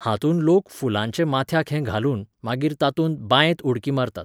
हातूंत लोक फुलांचें माथ्याक हें घालून, मागीर तातूंत, बायंत, उडकी मारतात